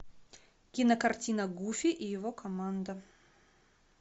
кинокартина гуфи и его команда